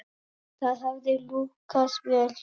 Það hefði lukkast vel hér.